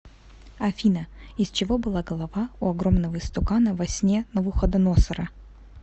афина из чего была голова у огромного истукана во сне навуходоносора